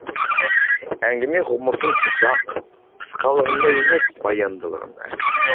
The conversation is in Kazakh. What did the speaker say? әңгіме ғұмырдың ұзақ қысқалығында емес баяндылығында